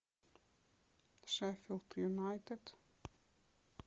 шеффилд юнайтед